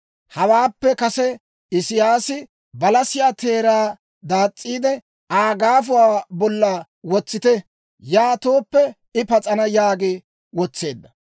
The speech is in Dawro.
Hawaappe kase Isiyaasi, «Balasiyaa teeraa daas's'iide, Aa gaafuwaa bolla wotsite. Yaatooppe, I pas'ana» yaagi wotseedda.